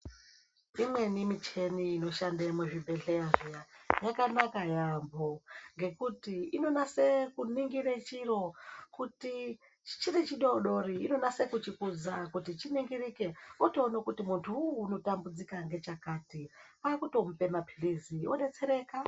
Imweni michini inoshande muzvibhedhleya zviya yakanaka yaambo, ngekuti inonase kuningire chiro. Kuti chiri chidoodori inonase kuchikudza kuti chiningirike, wotoone kuti muntu uwuwu unotambudzika ngechakati, kwaakutomupe mapilizi, odetsereka.